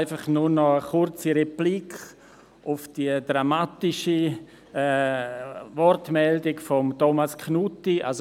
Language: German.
Noch kurz eine Replik auf die dramatische Wortmeldung von Thomas Knutti: